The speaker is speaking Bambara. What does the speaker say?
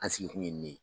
An sigi kun ye nin ye